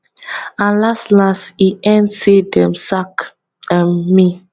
and laslas e end say dem sack um me